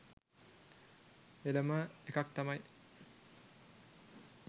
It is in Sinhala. එලම එකක් තමයි